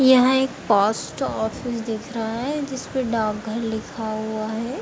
यहाँ एक post office दिख रहा है जिसपे डाक घर लिखा हुआ है।